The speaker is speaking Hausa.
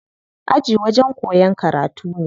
Aji wajen koyan karatu ne.